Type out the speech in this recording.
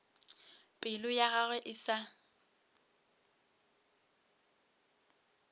pelo ya gagwe e sa